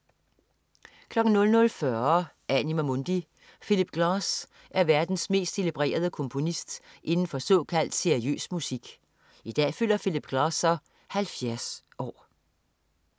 00.40 Anima Mundi. Philip Glass er verdens mest celebrerede komponist inden for såkaldt seriøs musik. I dag fylder Philip Glass så 70 år